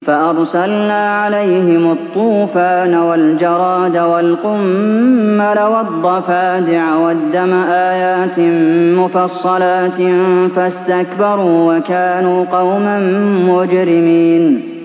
فَأَرْسَلْنَا عَلَيْهِمُ الطُّوفَانَ وَالْجَرَادَ وَالْقُمَّلَ وَالضَّفَادِعَ وَالدَّمَ آيَاتٍ مُّفَصَّلَاتٍ فَاسْتَكْبَرُوا وَكَانُوا قَوْمًا مُّجْرِمِينَ